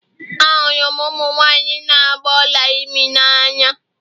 Ahụrụ m ụmụ nwanyị na agba Ọla imi n'anya